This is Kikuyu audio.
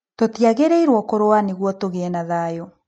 Tũtiagĩrĩirũo kũrũa nĩguo tũgĩe na thayũ.